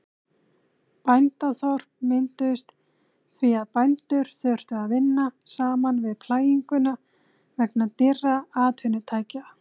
Bændaþorp mynduðust því að bændur þurftu að vinna saman við plæginguna vegna dýrra atvinnutækja.